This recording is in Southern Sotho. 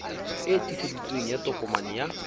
e tiiseditsweng ya tokomane ya